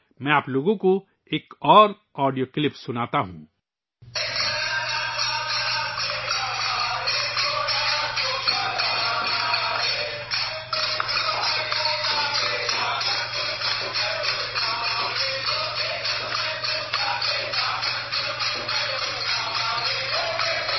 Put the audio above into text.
مجھے آپ ایک اور آڈیو کلپ چلانے دیں